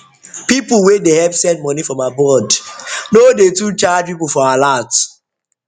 people wey dey help send money from abroad no dey too charge people for alert